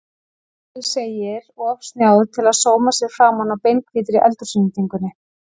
Axel segir of snjáð til að sóma sér framan á beinhvítri eldhúsinnréttingunni.